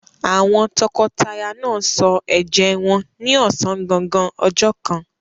Àwọn tọkọtaya náà sọ ẹ̀jẹ́ wọn ní ọ̀sán gangan ọjọ́ kan.